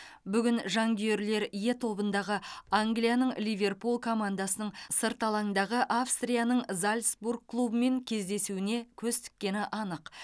бүгін жанкүйерлер е тобындағы англияның ливерпуль командасының сырт алаңдағы австрияның зальцбург клубымен кездесуіне көз тіккені анық